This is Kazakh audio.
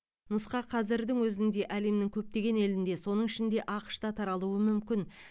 нұсқа қазірдің өзінде әлемнің көптеген елінде соның ішінде ақш та таралуы мүмкін